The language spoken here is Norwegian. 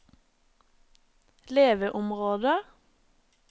leveområder